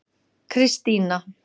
Kristína